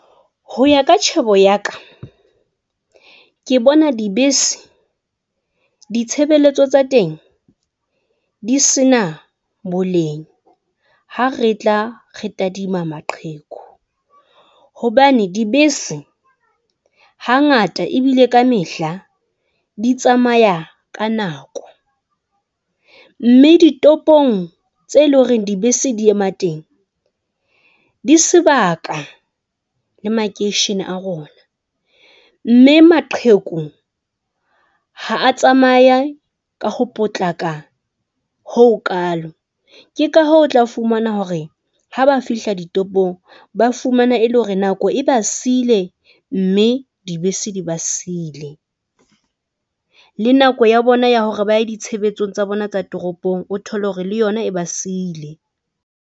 Ho ya ka tjhebo ya ka ke bona dibese, ditshebeletso tsa teng di se na boleng ha re tla re tadima maqheku hobane dibese hangata ebile ka mehla, di tsamaya ka nako mme ditopong tseo e leng hore dibese di ema teng, di sebaka le makeishene a rona, mme maqheku ha a tsamaya ka ho potlaka hoo kaalo. Ke ka hoo o tla fumana hore ha ba fihla ditopong, ba fumana e le hore nako e ba siile mme dibese di ba siile le nako ya bona ya hore ba ye ditshebetsong tsa bona tsa toropong. O thole hore le yona e ba siile.